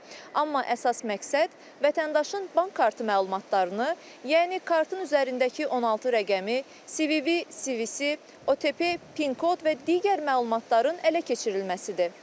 Amma əsas məqsəd vətəndaşın bank kartı məlumatlarını, yəni kartın üzərindəki 16 rəqəmi, CVV, CVC, OTP, PIN kod və digər məlumatların ələ keçirilməsidir.